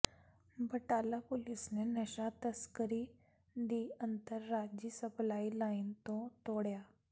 Batala police ਨੇ ਨਸ਼ਾ ਤਸਕਰੀ ਦੀ ਅੰਤਰਰਾਜੀ ਸਪਲਾਈ ਲਾਈਨ ਤੋਂ ਤੋੜਿਆ